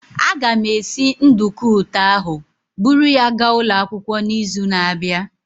Aga m esi nduku ụtọ ahụ buru ya gaa ụlọ akwụkwọ n'izu na-abịa.